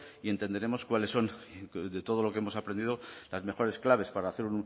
y entenderemos cuáles son de todo lo que hemos aprendido las mejores claves para hacer